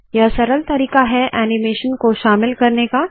यह सरल तरीका है ऐनीमेशन को शामिल करने का